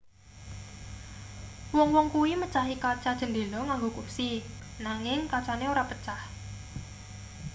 wong-wong kuwi mecahi kaca cendhela nganggo kursi nanging kacane ora pecah